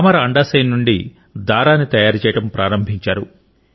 తామర అండాశయం నుండి దారాన్ని తయారు చేయడం ప్రారంభించారు